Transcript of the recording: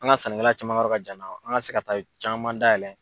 An ka sannikɛla caman ka yɔrɔ ka jan n na o an ka se ka taa caman dayɛlɛ.